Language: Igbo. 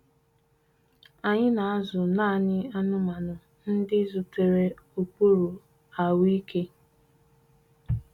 Anyị na-azụ naanị anụmanụ ndị zutere ụkpụrụ ahụike.